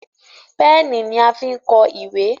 Pẹ́ẹ̀nì ní a fín kọ ìwé.